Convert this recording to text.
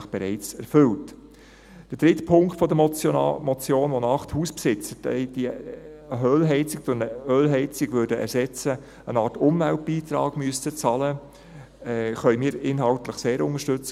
Der dritte Punkt der Motion, wonach die Hausbesitzer, die eine Ölheizung durch eine Ölheizung ersetzen, eine Art Umweltbeitrag zahlen müssten, können wir inhaltlich sehr unterstützen;